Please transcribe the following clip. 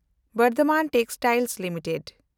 Bardhaman textiles limited